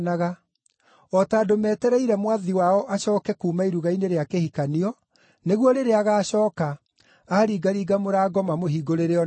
o ta andũ metereire mwathi wao acooke kuuma iruga-inĩ rĩa kĩhikanio, nĩguo rĩrĩa agaacooka, aaringaringa mũrango mamũhingũrĩre o narua.